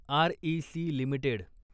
REC limited